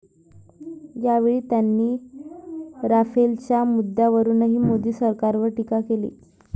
यावेळी त्यांनी राफेलच्या मुद्द्यावरूनही मोदी सरकारवर टीका केली.